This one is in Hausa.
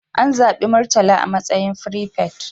An zabi Murtala a matsayin firifet.